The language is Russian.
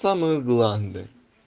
самые гланды